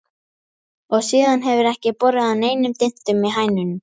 Og síðan hefur ekki borið á neinum dyntum í hænunum.